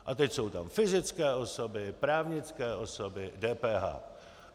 A teď jsou tam fyzické osoby, právnické osoby, DPH.